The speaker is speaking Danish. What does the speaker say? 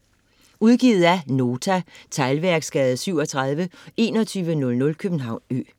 Udgivet af Nota Teglværksgade 37 2100 København Ø